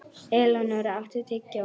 Elenóra, áttu tyggjó?